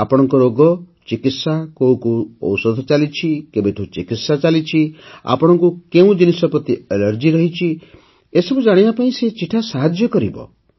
ଆପଣଙ୍କ ରୋଗ ଚିକିତ୍ସା କୋଉ କୋଉ ଔଷଧ ଚାଲିଛି କେବେଠୁ ଚିକିତ୍ସା ଚାଲିଛି ଆପଣଙ୍କୁ କେଉଁ ଜିନିଷ ପ୍ରତି ଆଲର୍ଜି ଅଛି ଏସବୁ ଜାଣିବା ପାଇଁ ସେହି ଚିଠା ସାହାଯ୍ୟ କରିବ